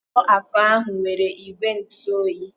Ụlọ akụ ahụ nwere igwe ntụ oyi.